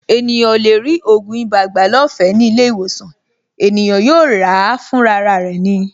Ènìyàn ò lè rí ògùn ibà gbà lọ́fẹ̀ẹ́ ní ilé-ìwòsàn; ènìyàn yóò ràá fúnra rẹ̀ ni.